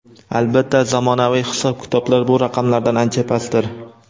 Albatta, zamonaviy hisob-kitoblar bu raqamlardan ancha pastdir.